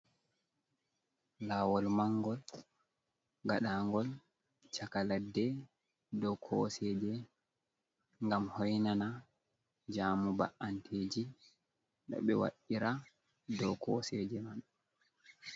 Lawol mangol gaɗa ngol chaka ladde, dow koseje ngam hoinana jamu ba'anteji noɓe wa'irra dow koseje man.